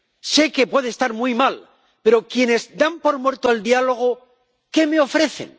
Sé que puede estar muy mal, pero quienes dan por muerto el diálogo, ¿qué me ofrecen?